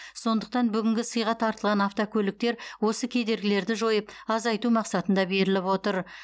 сондықтан бүгінгі сыйға тартылған автокөліктер осы кедергілерді жойып азайту мақсатында беріліп отыр